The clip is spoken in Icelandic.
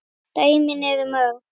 Dæmin eru mörg.